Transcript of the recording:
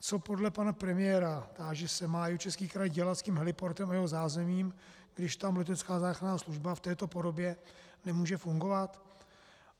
Co podle pana premiéra, táži se, má Jihočeský kraj dělat s tím heliportem a jeho zázemím, když tam letecká záchranná služba v této podobě nemůže fungovat?